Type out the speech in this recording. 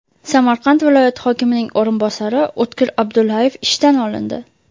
Samarqand viloyati hokimining o‘rinbosari O‘tkir Abdullayev ishdan olindi.